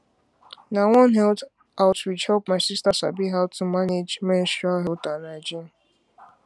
na one health outreach help my sister sabi how to manage menstrual health and hygiene